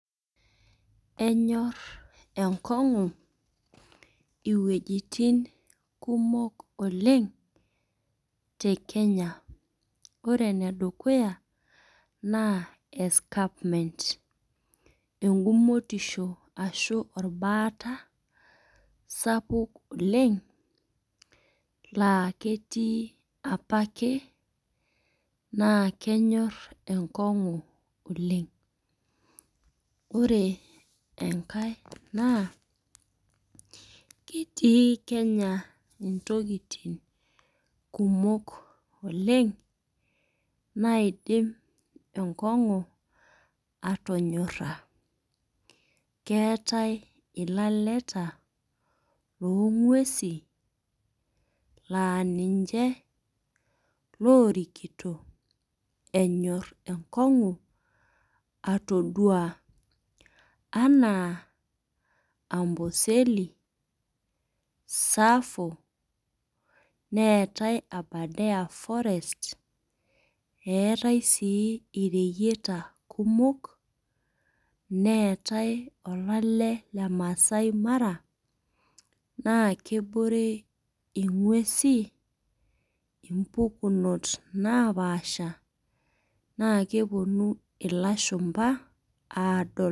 Enyor enkong'u iwuejitin kumok oleng' te Kenya, ore ene dukuya naa escarpment. Engumotisho ashu olbaata sapuk oleng' laa ketii opake naa kenyor enkong'u oleng'. Ore enkai naa ketii Kenya intokitin kumok oleng' naidim enkong'u atonyora, keatai ilaleta loo ng'uesi naa ninche loorikito enyor enkong'u atodua, anaa Amboseli, Tsavo, neatai sii Abadare forest, neatai sii ireyieta kumok, neatai olale le Maasai Mara, naake ebore ing'uesi impukunot naapasha, naa kewuonu ilashumba aadol.